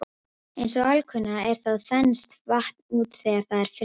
Eins og alkunna er þá þenst vatn út þegar það er fryst.